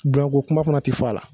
Bonya ko kuma fana ti fɔ a la.